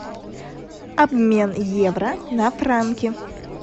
обмен евро на франки